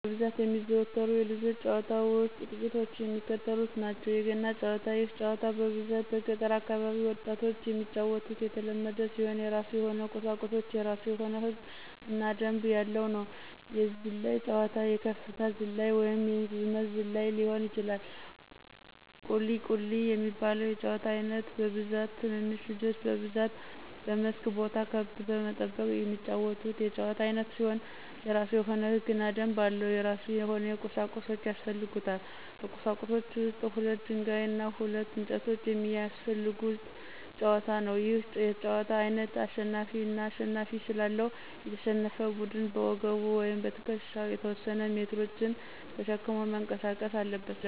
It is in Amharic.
በብዛት ከሚዘወተሩት የልጆች ጨዋታ ውስጥ ጥቂቶቹ የሚከተሉት ናቸው፦ ፩) የገና ጨዋታ፦ ይህ ጨዋታ በብዛት በገጠር አካባቢ ወጣቶች የሚጫወቱትና የተለመደ ሲሆን የራሱ የሆነ ቁሳቁሶች፤ የራሱ የሆነ ህግ እና ደንብ ያለው ነው። ፪) የዝላይ ጨዋታ፦ የከፍታ ዝላይ ወይንም የርዝመት ዝላይ ሊሆን ይችላል። ፫) ቁሊ፦ ቁሊ የሚባለው የጨዋታ አይነት በብዛት ትንንሽ ልጆች በብዛት በመስክ ቦታ ከብት በመጠበቅ የሚጫወቱት የጨዋታ አይነት ሲሆን የራሱ የሆነ ህግና ደንብ አለው። የራሱ የሆነ ቁሳቁሶች ያሰፈልጉታል። ከቁሳቁሶች ውስጥ ሁለት ደንጋይ እና ሁለት እንጨቶች የሚያሰፈልጉት ጨዋታ ነው። ይህ የጨዋታ አይነት አሸናፊ አና ተሸናፊ ስላለው፤ የተሸነፈ ቡድን በወገቡ ወይም በትክሻው የተወሰነ ሜትሮችን ተሸክሞ መንቀሳቀስ አለበት።